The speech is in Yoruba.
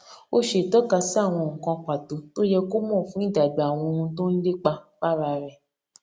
ó ṣe ìtọkasí àwọn nǹkan pàtó tó yẹ kó mò fún ìdàgbà àwọn ohun tó n lépa fára rẹ